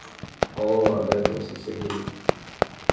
оо обрадовался сергей